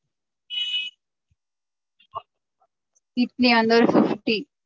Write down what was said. idli fifty